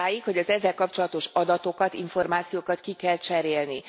Odáig, hogy az ezzel kapcsolatos adatokat, információkat ki kell cserélni.